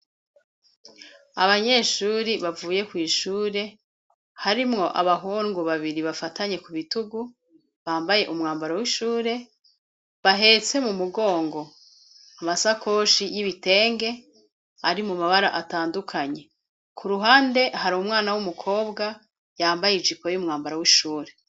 Abanyeshure bavuye kw'ishure harimwo abahungu babiri bafatanye ku bitugu bambaye umwambaro w'ishure bahetse mu mugongo amasakoshi y'ibitenge ari mu mabara atandukanye. Ku ruhande hari umwana w'umukobwa yambaye ijipo y'umwambaro w'ishure.